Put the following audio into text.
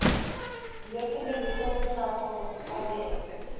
lopende betaalstelsel lbs